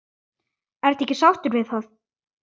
Ertu ekki sáttur við það?